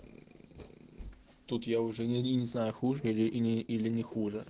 тут я уже не знаю хуже или не хуже